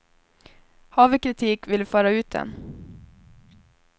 Har vi kritik vill vi föra ut den.